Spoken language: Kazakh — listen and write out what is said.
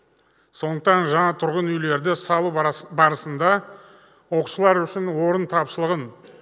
сондықтан жаңа тұрғын үйлерді салу барысында оқушылар үшін орын тапшылығын